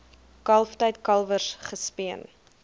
kalftyd kalwers gespeen